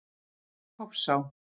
Hofsá